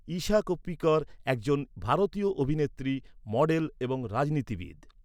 ইশা কোপ্পিকর একজন ভারতীয় অভিনেত্রী, মডেল এবং রাজনীতিবিদ।